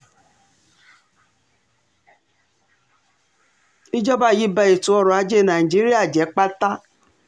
ìjọba yìí ba ètò ọrọ̀ ajé nàìjíríà jẹ́ pátá